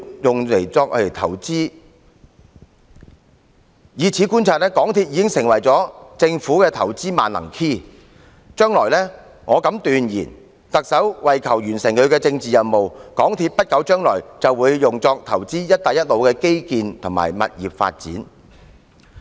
由此可見，港鐵公司已成為政府作出投資的"萬能 key"， 我敢斷言特首為求完成她的政治任務，在不久的將來還會利用港鐵公司投資"一帶一路"的基建和物業發展。